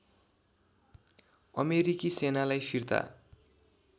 अमेरिकी सेनालाई फिर्ता